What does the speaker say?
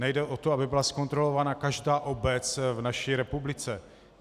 Nejde o to, aby byla zkontrolována každá obec v naší republice.